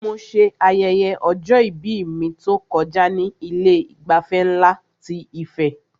Mo ṣe ayẹyẹ ọjọ-ìbí mi tó kọjá ní Ilé ìgbafẹ́ nlá ti Ife